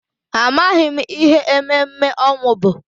Amaghị m ihe ememme ọnwụ bụ.